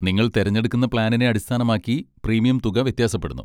നിങ്ങൾ തിരഞ്ഞെടുക്കുന്ന പ്ലാനിനെ അടിസ്ഥാനമാക്കി പ്രീമിയം തുക വ്യത്യാസപ്പെടുന്നു.